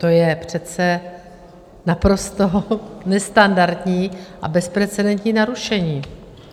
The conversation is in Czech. To je přece naprosto nestandardní a bezprecedentní narušení.